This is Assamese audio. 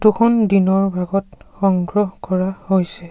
ফটো খন দিনৰ ভাগত সংগ্ৰহ কৰা হৈছে।